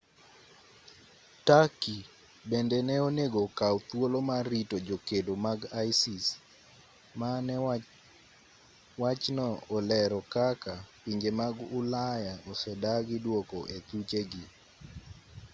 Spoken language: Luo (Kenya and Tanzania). turkey bende ne onego okaw thuolo mar rito jokedo mag isis mane wachno olero kaka pinje mag ulaya osedagi duoko e thuchegi